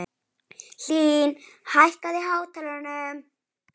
Hlín, hækkaðu í hátalaranum.